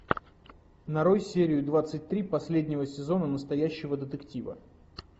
нарой серию двадцать три последнего сезона настоящего детектива